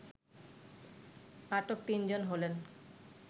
আটক তিন জন হলেন